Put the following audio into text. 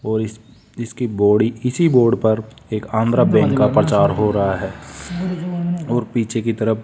और इस इसकी बॉडी इसी बोर्ड पर एक आंध्रा बैंक का प्रचार हो रहा है और पीछे की तरफ --